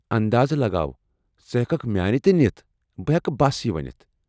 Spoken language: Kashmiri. انٛداز لگاو! ژٕ ہٮ۪ککھ میٲنہِ تہِ نِتھ، بہٕ ہٮ۪کہٕ بس یہِ ؤنتھ ۔